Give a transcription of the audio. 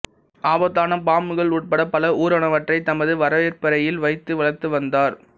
ஆபத்தான பாம்புகள் உட்பட பல ஊா்வனவற்றை தமது வரவேற்பறையில் வைத்து வளா்த்து வந்தாா்